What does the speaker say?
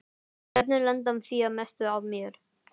Börnin lenda því að mestu á mér.